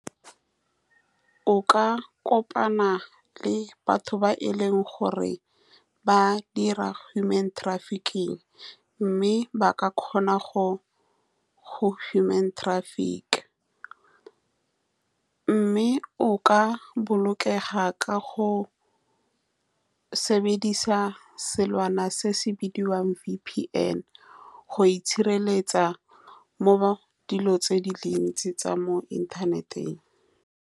O ka kopana le batho ba e leng gore ba dira human trafficking, mme ba ka kgona go human traffick-a, mme o ka bolokega ka go sebedisa selwana se se bidiwang V_P_N go itshireletsa mo mo dilong tse di le dintsi tsa mo inthaneteng.